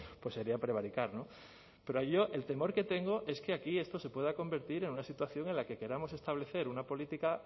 pues sería prevaricar no pero yo el temor que tengo es que aquí esto se pueda convertir en una situación en la que queramos establecer una política